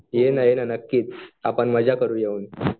ये ना ये ना नक्कीच आपण मजा करूया येऊन